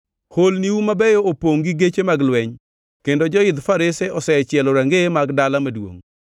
Holniu mabeyo opongʼ gi geche mag lweny, kendo joidh farese osechielo rangeye mag dala maduongʼ.